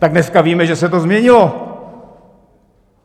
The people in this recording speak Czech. Tak dneska víme, že se to změnilo!